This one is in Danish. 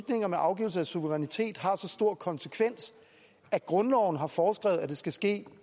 om afgivelse af suverænitet har så stor konsekvens at grundloven har foreskrevet at det skal ske